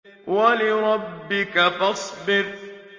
وَلِرَبِّكَ فَاصْبِرْ